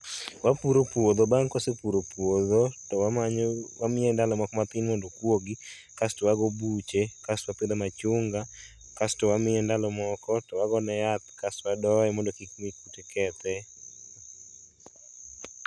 Wapuro puodho, bang' ka wasepuro puodho to wamanyo, wamiye ndalo moko matin mondo okuogi kasto wago buche kasto wapidhe machunga kasto wamiye ndalo moko to wagone yath kasto wadoye mondo kik buche kethe